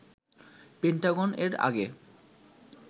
Pentagon এর আগে